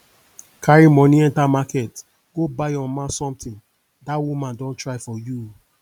carry money enter market go buy your mama something dat woman don try for you